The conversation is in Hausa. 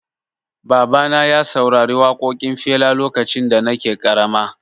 Baba na ya saurari waƙoƙin Fela lokacin da nake ƙarama